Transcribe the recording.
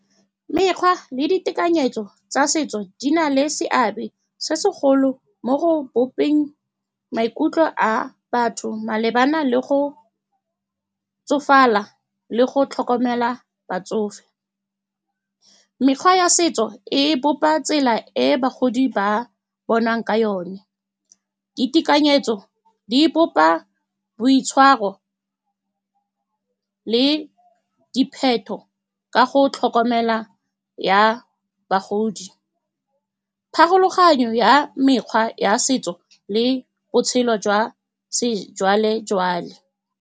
mekgwa le ditekanyetso tsa setso di na le seabe se segolo mo go bopeng maikutlo a batho malebana le go tsofala le go tlhokomela batsofe mekgwa ya setso e bopa tsela e bagodi ba bonwang ka yone. Ditekanyetso di bopa boitshwaro le ka go tlhokomela ya bagodi pharologanyo ya mekgwa ya setso le botshelo jwa sejwalejwale.